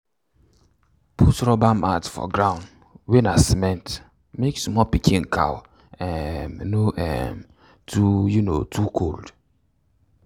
put rubber mat um for ground wey na cement make small cow pikin um no um too um too cold.